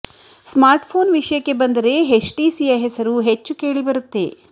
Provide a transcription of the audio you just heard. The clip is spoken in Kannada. ಸ್ಮಾರ್ಟ್ ಫೋನ್ ವಿಷಯಕ್ಕೆ ಬಂದರೆ ಎಚ್ ಟಿಸಿಯ ಹೆಸರು ಹೆಚ್ಚು ಕೇಳಿಬರುತ್ತೆ